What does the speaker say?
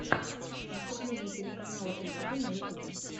выступление телеканала стб на ютубе